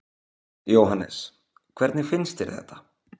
Jóhannes: Hvernig finnst þér þetta?